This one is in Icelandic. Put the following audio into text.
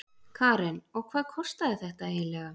Karen: Og hvað kostaði þetta eiginlega?